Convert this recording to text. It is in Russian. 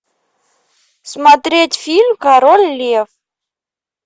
смотреть фильм король лев